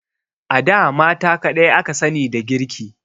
A da mata kadai aka sani da girki.